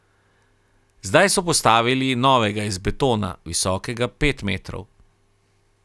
Zdaj so postavili novega iz betona, visokega pet metrov.